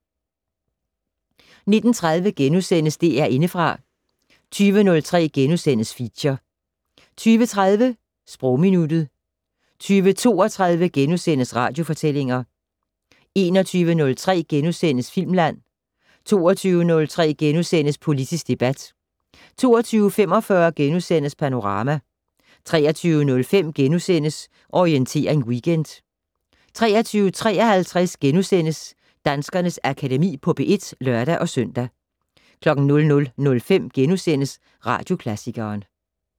19:30: DR Indefra * 20:03: Feature * 20:30: Sprogminuttet 20:32: Radiofortællinger * 21:03: Filmland * 22:03: Politisk debat * 22:45: Panorama * 23:05: Orientering Weekend * 23:53: Danskernes Akademi på P1 *(lør-søn) 00:05: Radioklassikeren *